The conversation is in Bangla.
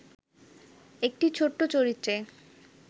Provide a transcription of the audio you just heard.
একটি ছোট্ট চরিত্রে